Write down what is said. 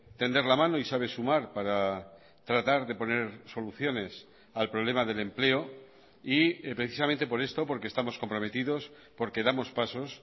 tender la mano y sabe sumar para tratar de poner soluciones al problema del empleo y precisamente por esto porque estamos comprometidos porque damos pasos